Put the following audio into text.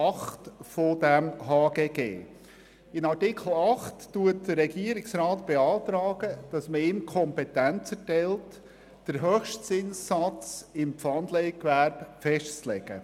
Mit Artikel 8 beantragt der Regierungsrat, dass man ihm die Kompetenz erteilt, den Höchstzinssatz im Pfandleihgewerbe festzulegen.